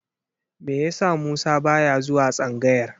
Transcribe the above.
Me yasa Musa ba ya zuwa tsangayar?